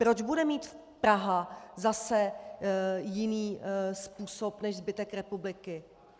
Proč bude mít Praha zase jiný způsob než zbytek republiky?